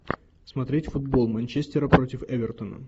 смотреть футбол манчестера против эвертона